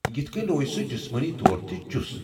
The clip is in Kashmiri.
یِتھ کٔنۍ، روزِ سُہ جسمٲنی طور تہِ چُس۔